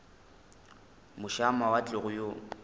moše a mawatle go yo